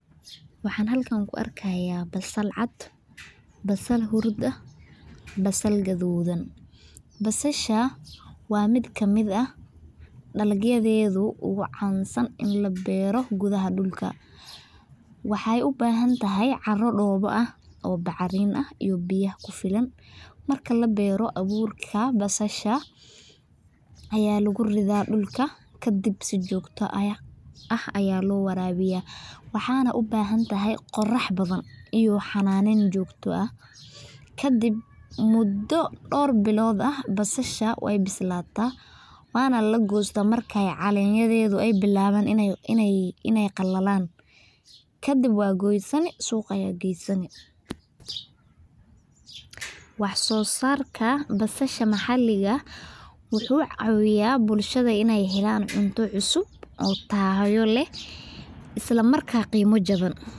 Waxaan halkan ku argaya basal cad, basal hurud ah basal gadudan, basasha wa mid ka mid ah, dalyada ogu cansan in la baro gudaha dulka, waxay ubahantahay caro dowa ah oo macrin ah iyo biyo ku filan, marki la baro awurka basasha , aya lagu rida dulka ka dhib sii jogta ah aya ah lowarawiya waxana ubahantahay qorah badan iyo xananan jogto ah, ka dhib mudo dor bilod ah basasha way bislatah wana lagostah markay calamyadado aya bilawan inay qalalan, ka dhib way wad kusani suqa aya gasani, wax sosarka basasha macalika wuxu cawiyah bulshada inay halan cunta cusub oo tayo lah, islamarka qima jawan.